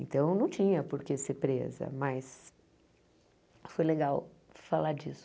Então, não tinha por que ser presa, mas foi legal falar disso.